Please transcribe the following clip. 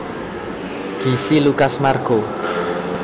Gisi Lucas Marco